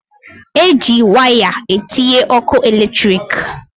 E ji waya etinye ọkụ eletriki.